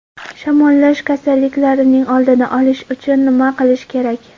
Shamollash kasalliklarining oldini olish uchun nima qilish kerak?.